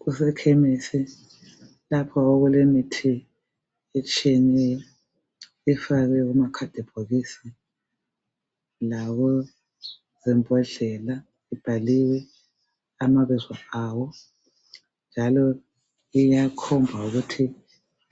Kuwsekhemisi lapho okulemithi etshiyeneyo efakwe kumakhadibhokisi lakuzimbodlela okubhalwe amabizo awo, njalo iyakhomba ukuthi